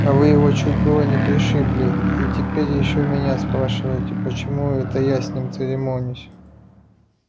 а вы его чуть было не пришибли и теперь ещё меня спрашиваете почему это я с ним церемонюсь